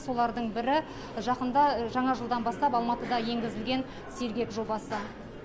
солардың бірі жақында жаңа жылдан бастап алматыда енгізілген сергек жобасы